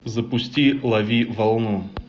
запусти лови волну